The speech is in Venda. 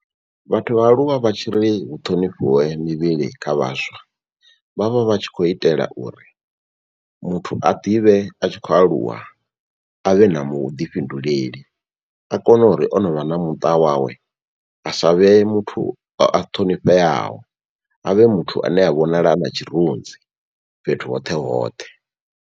Vhathu vha aluwa vha tshiri hu ṱhonifhiwe mivhili kha vhaswa vha vha vha tshi khou itela uri muthu a ḓivhe a tshi khou aluwa avhe na vhuḓifhinduleli. A kone uri o no vha na muṱa wawe asa vhe muthu a ṱhonifheaho a vhe muthu ane a vhonala a na tshirunzi fhethu hoṱhe hoṱhe.